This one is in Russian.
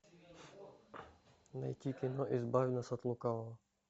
найти кино избавь нас от лукавого